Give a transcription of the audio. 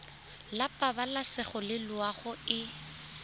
la pabalesego le loago e